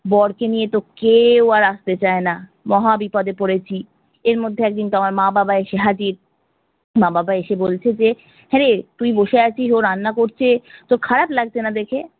বরকে নিয়েতো কেও আর আস্তে চাই না, মহা বিপদে পড়েছি। এরমধ্যে একদিন তো আমার মা বাবা এসে হাজির, মা বাবা এসে বলছে যে হ্যাঁরে তুই বসে আছিস ও রান্না করছে তোর খারাপ লাগছেনা দেখে?